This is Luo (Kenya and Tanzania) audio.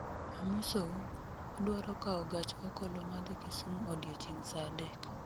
Amosou, adwaro kawo gach okoloma dhi Kisumu odiechieng' sa adek